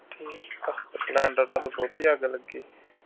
splendor ਨੂੰ ਤਾਂ ਬਹੁਤੀ ਅੱਗ ਲੱਗੀ।